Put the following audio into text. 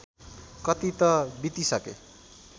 कति त बितिसके